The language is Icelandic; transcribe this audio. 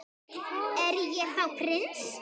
Er ég þá prins?